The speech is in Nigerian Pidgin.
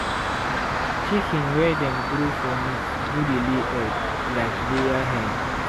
to process broiler well na na early morning when weather cool be the best time.